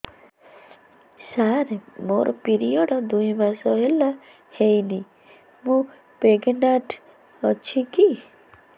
ସାର ମୋର ପିରୀଅଡ଼ସ ଦୁଇ ମାସ ହେଲା ହେଇନି ମୁ ପ୍ରେଗନାଂଟ ଅଛି କି